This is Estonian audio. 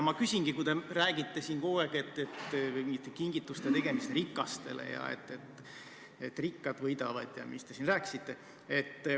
Aga te räägite siin kogu aeg kingituste tegemisest rikastele ja sellest, et rikkad võidavad, ja mis te veel rääkisite.